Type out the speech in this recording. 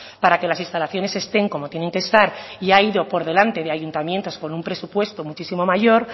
para que las instalaciones estén como tienen que estar y ha ido por delante de ayuntamientos con un presupuesto muchísimo mayor